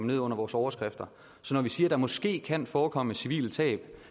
ned under vores overskrifter så når vi siger at der måske kan forekomme civile tab